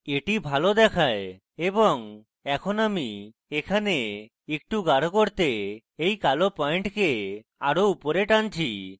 এটি ভালো দেখায় এবং এখন আমি এখানে একটু গাঢ় করতে এই কালো পয়েন্টকে আরো উপরে টানছি